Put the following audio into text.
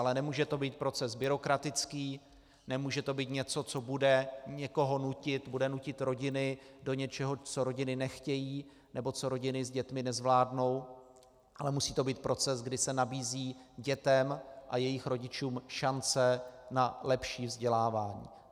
Ale nemůže to být proces byrokratický, nemůže to být něco, co bude někoho nutit, bude nutit rodiny do něčeho, co rodiny nechtějí nebo co rodiny s dětmi nezvládnou, ale musí to být proces, kdy se nabízí dětem a jejich rodičům šance na lepší vzdělávání.